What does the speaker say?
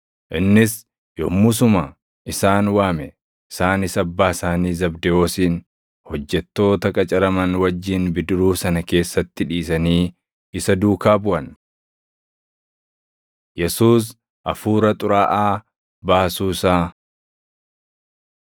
Innis yommusuma isaan waame; isaanis abbaa isaanii Zabdewoosin hojjettoota qacaraman wajjin bidiruu sana keessatti dhiisanii isa duukaa buʼan. Yesuus Hafuura Xuraaʼaa Baasuu Isaa 1:21‑28 kwf – Luq 4:31‑37